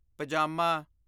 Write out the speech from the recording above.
ਪਜਾਮਾ